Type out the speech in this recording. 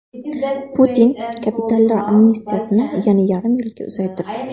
Putin kapitallar amnistiyasini yana yarim yilga uzaytirdi.